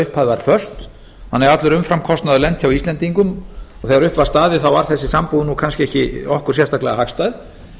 upphæð var föst þannig að allur umframkostnaður lenti á íslendingum og þegar upp var staðið var þessi sambúð kannski ekki okkur sérstaklega hagstæð